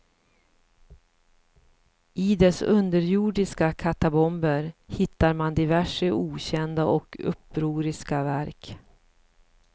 I dess underjordiska katakomber hittar han diverse okända och upproriska verk.